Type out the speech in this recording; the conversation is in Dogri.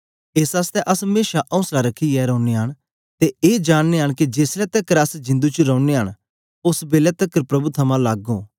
एस आसतै अस मेशा औसला रखियै रौनयां न ते ए जाननयां न के जेसलै तकर अस जिंदु च रौनयां न ओस बेलै तकर प्रभु थमां लग्ग ओं